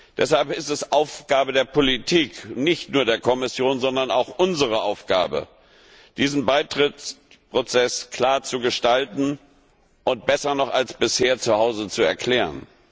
Deshalb ist es Aufgabe der Politik nicht nur der Kommission, sondern auch von uns diesen Beitrittsprozess klar zu gestalten und besser noch als bisher zuhause zu erklären.